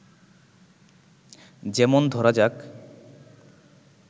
যেমন ধরা যাক